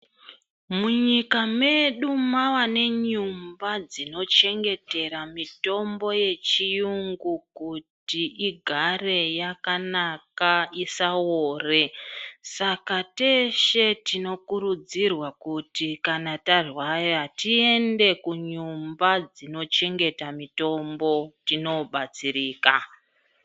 Mu nyika medu mava ne nyumba dzino chengetera mitombo ye chiyungu kuti igare yakanaka isa ore saka teshe tinokurudzirwa kuti kana tarwara tiende ku nyumba dzino chengeta mitombo tino batsirika.